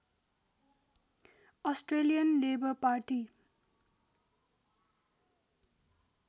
Australian Labor party